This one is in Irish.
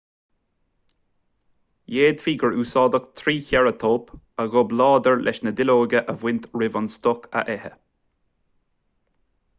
d'fhéadfaí gur úsáideadh trícheireatóp a ghob láidir leis na duilleoga a bhaint roimh an stoc a ithe